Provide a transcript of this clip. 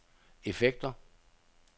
effekter